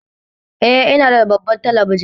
Eh, ina da babbar talabijin